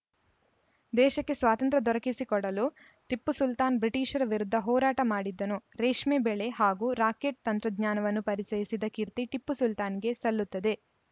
ದೇಶಕ್ಕೆ ಸ್ವತಂತ್ರ ದೊರಕಿಸಿಕೊಡಲು ಟಿಪ್ಪು ಸುಲ್ತಾನ್‌ ಬ್ರಿಟಿಷರ ವಿರುದ್ಧ ಹೋರಾಟ ಮಾಡಿದ್ದನು ರೇಷ್ಮೆ ಬೆಳೆ ಹಾಗೂ ರಾಕೆಟ್‌ ತಂತ್ರಜ್ಞಾನವನ್ನು ಪರಿಚಯಿಸಿದ ಕೀರ್ತಿ ಟಿಪ್ಪು ಸುಲ್ತಾನ್‌ಗೆ ಸಲ್ಲುತ್ತದೆ